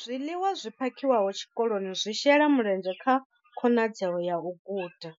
Zwiḽiwa zwi phakhiwaho tshikoloni zwi shela mulenzhe kha khonadzeo ya u guda,